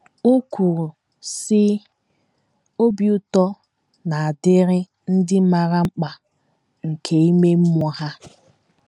O kwuru, sị: “ Obi ụtọ na - adịrị ndị maara mkpa nke ime mmụọ ha. ”